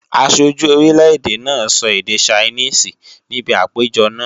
Aṣojú orílè-èdè náà sọ èdè Ṣainíìsì níbi àpéjọ náà